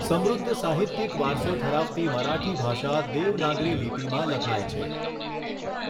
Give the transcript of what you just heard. સમૃદ્ધ સાહિત્યિક વારસો ધરાવતી મરાઠી ભાષા દેવનાગરી લિપિમાં લખાય છે.